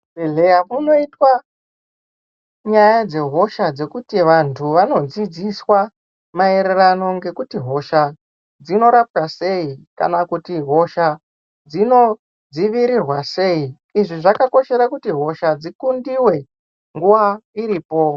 Kuzvibhedhlera kunoitwa nyaya dzehosha kuti vantu vanodzidziswa maererano ngekuti hosha dzinorapwa sei kana kuti hosha dzinodzivirirwa sei izvi zvakakosha kuti hosha dzikundiwe nguva iripo .